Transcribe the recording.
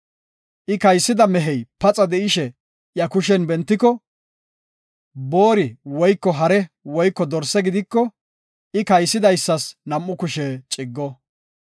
I kaysida mehey paxa de7ishe iya kushen bentiko, boori woyko hare woyko dorse gidiko, I kaysidaysas nam7u kushe ciggo.